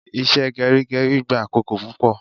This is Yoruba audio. Ìṣe gerigeri gba akoko pupo